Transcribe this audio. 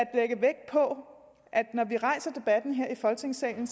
når vi rejser debatten her i folketingssalen